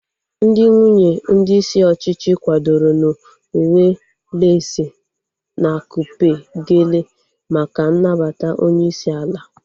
Ndị nwunye ndị isi ọchịchị kwadoro n'uwe leesi na akupe geele maka nnabata onyeisi ala